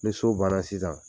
Ni so baana sisan